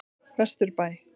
Vesturbæ